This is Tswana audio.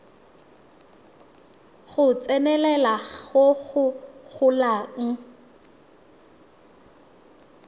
go tsenelela go go golang